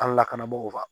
An ka lakanabagaw